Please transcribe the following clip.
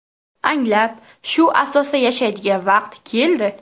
Anglab, shu asosda yashaydigan vaqt keldi.